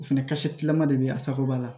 O fɛnɛ kasa tilama de bɛ a sagoba la